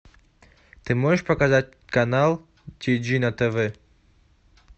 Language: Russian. ты можешь показать канал ти джи на тв